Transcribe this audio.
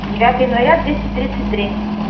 девятое января двести тридцать три